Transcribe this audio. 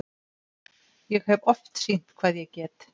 Ég hef oft sýnt hvað ég get.